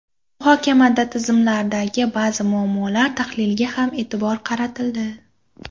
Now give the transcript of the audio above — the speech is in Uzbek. Muhokamada tizimlardagi ba’zi muammolar tahliliga ham e’tibor qaratildi.